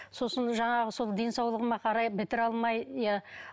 сосын жаңағы сол денсаулығыма қарай бітіре алмай иә